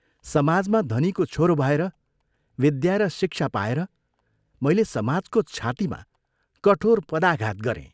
समाजमा धनीको छोरो भएर, विद्या र शिक्षा पाएर मैले समाजको छातीमा कठोर पदाघात गरें।